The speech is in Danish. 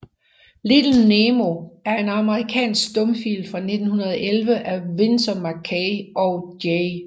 Little Nemo er en amerikansk stumfilm fra 1911 af Winsor McCay og J